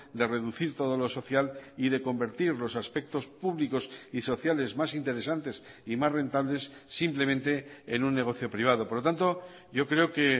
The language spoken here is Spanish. de reducir todo lo social y de convertir los aspectos públicos y sociales más interesantes y más rentables simplemente en un negocio privado por lo tanto yo creo que